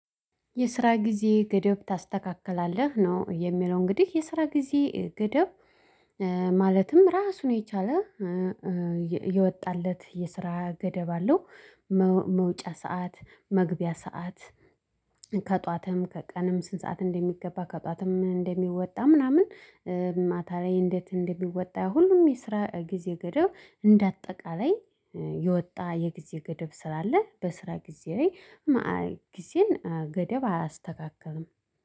የስራ ጊዜ ገደብ ታስተካክላለህ ነው የሚለው እንግዲህ የስራ ጊዜ ገደብ። ማለትም ራሱን የቻለ የወጣለት የስራ ገደብ አለው። መውጫ ሰዓት መግቢያ ሰዓት። ከጠዋትም ከቀንም ስንት ሰዓት እንደሚገባ ከጠዋትም እንደሚወጣ ምናምን። ማታ ላይ እንዴት እንደሚወጣ ሁሉም የስራ ጊዜ ገደብ እንደ አጠቃላይ። የወጣ የጊዜ ገደብ ስላለ በስራ ጊዜ ላይ ጊዜን ገደብ አያስተካክልም